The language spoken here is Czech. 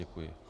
Děkuji.